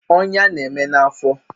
Ọnya na-eme na afọ